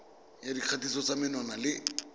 ya dikgatiso tsa menwana le